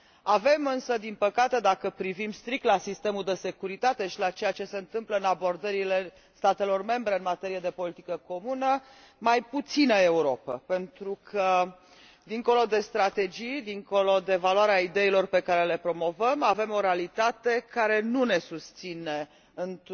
Avem, însă, din păcate, dacă privim strict la sistemul de securitate și la ceea ce se întâmplă în abordările statelor membre în materie de politică comună, mai puțină Europă, pentru că, dincolo de strategii, dincolo de valoarea ideilor pe care le promovăm, avem o realitate care nu ne susține în